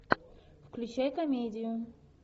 включай комедию